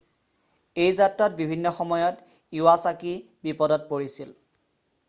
এই যাত্ৰাত বিভিন্ন সময়ত ইৱাছাকি বিপদত পৰিছিল